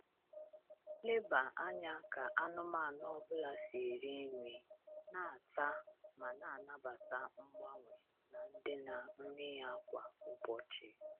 Leba anya ka anụmanụ ọ bụla si eri nri, na-ata, ma na-anabata mgbanwe na ndịna nri ya kwa ụbọchị.